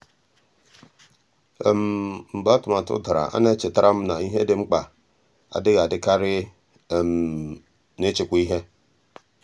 mgbe um atụmatụ dara a na-echetara m na ihe dị mkpa adịghị adịkarị um n’ịchịkwa ihe.